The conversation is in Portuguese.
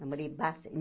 Namorei